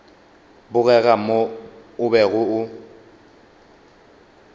bogega mo o bego o